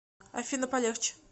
афина полегче